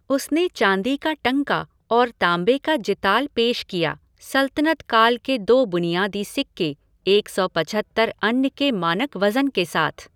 उसने चांदी का टंका और तांबे का जिताल पेश किया सल्तनत काल के दो बुनियादी सिक्के, एक सौ पचहत्तर अन्न के मानक वज़न के साथ।